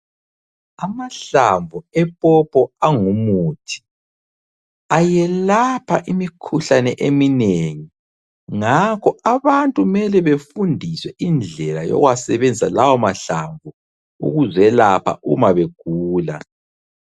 Amahlamvu epopo angumuthi, ayelapha imikhuhlane eminengi ngakho abantu mele befundiswe indlela yokuwasebenzisa lawa mahlamvu ukuzelapha uma begula.